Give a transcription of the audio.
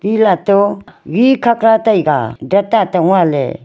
elah toh khat khat tai a dan an tong a ley.